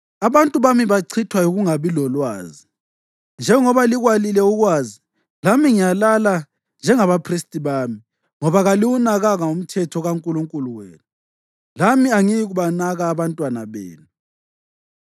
abantu bami bachithwa yikungabi lolwazi. Njengoba likwalile ukwazi, lami ngiyalala njengabaphristi bami; ngoba kaliwunakanga umthetho kaNkulunkulu wenu, lami angiyikubanaka abantwana benu.